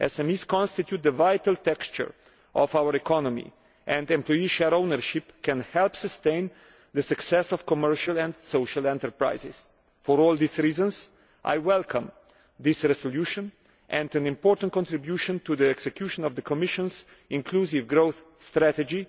SMEs constitute the vital texture of our economy, and employee share ownership can help sustain the success of commercial and social enterprises. For all these reasons I welcome this resolution as an important contribution to the execution of the Commission's inclusive growth strategy